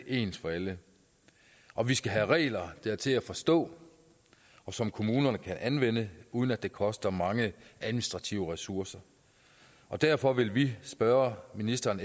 ens for alle og vi skal have regler der er til at forstå og som kommunerne kan anvende uden at det koster mange administrative ressourcer derfor vil vi spørge ministeren